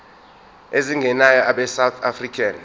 ezingenayo abesouth african